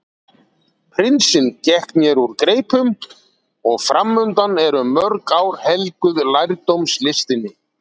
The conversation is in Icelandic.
Prinsinn gekk mér úr greipum og framundan eru mörg ár helguð lærdómslistinni.